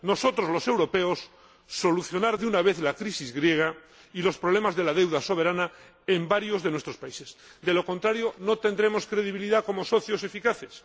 Nosotros, los europeos, debemos solucionar de una vez la crisis griega y los problemas de la deuda soberana en varios de nuestros países, De lo contrario, no tendremos credibilidad como socios eficaces.